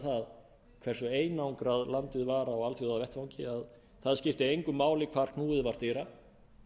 það hversu einangrað landið var á alþjóðavettvangi að það skipti engu máli hvar knúið var dyra